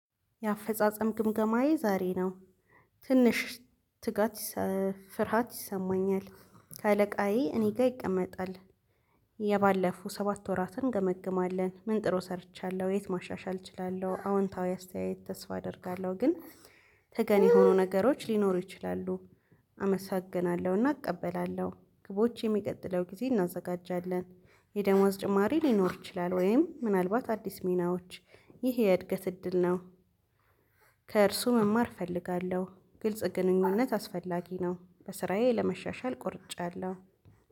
የአፈጻጸም ግምገማዬ ዛሬ ነው። ትንሽ ትጋት ፍርሃት ይሰማኛል ከአለቃዬ እኔ ጋር ይቀመጣል። የባለፈው ሰባት ወራትን እንገመግማለን ምን ጥሩ ሰርቻለሁ የት ማሻሻል እችላለሁ? አዎንታዊ አስተያየት ተስፋ አደርጋለሁ። ግን ተገን የሆኑ ነገሮች ሊኖሩ ይችላሉ። አመሰግናለሁ እና እቀበላለሁ ግቦች የሚቀጥለው ጊዜ እናዘጋጃለን። የደመወዝ ጭማሪ ሊኖር ይችላል? ወይም ምናልባት አዲስ ሚናዎች ይሄ የእድገት እድል ነው። ከእርሱ መማር እፈልጋለሁ ግልጽ ግንኙነት አስፈላጊ ነው። በስራዬ ለመሻሻል ቆርጫለሁ